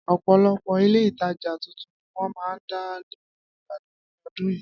Ọ̀pọ̀lọpọ̀ Ilé-ìtajà tuntun ni wọ́n máa dá nílùú Ìbàdàn ní ọdún yìí